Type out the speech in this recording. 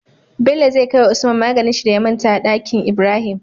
Bello zai kawai wa usman maganin shi da ya manta a danki Ibrahim